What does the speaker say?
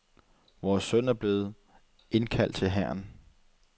Vores søn er blevet ind kaldt til hæren.